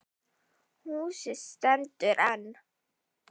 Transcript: Húsið stendur enn.